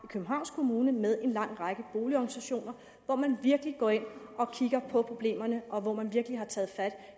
københavns kommune med en lang række boligorganisationer hvor man virkelig går ind og kigger på problemerne og hvor man virkelig har taget fat